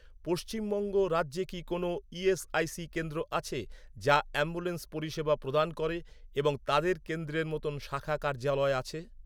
পশ্চিমবঙ্গ রাজ্যে কি কোনও ইএসআইসি কেন্দ্র আছে, যা অ্যাম্বুলেন্স পরিষেবা প্রদান করে এবং তাদের কেন্দ্রের মতো শাখা কার্যালয় আছে?